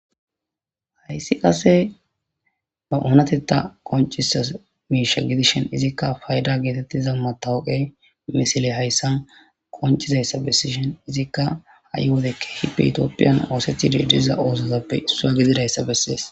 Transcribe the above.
Hays qase ba onatetha qoncisiza misha gidishn izika fayda getetiza matoqeyi misiley hays qoncizaysa besishn , ha'i wode keeh ithiyophiyan osetishe diza osotappe issuwa gididaysa besesi.